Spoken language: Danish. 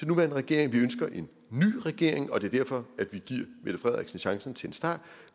nuværende regering vi ønsker en ny regering og det er derfor at vi giver mette frederiksen chancen til en start